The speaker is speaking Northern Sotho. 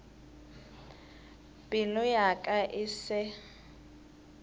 pelo ya ka e se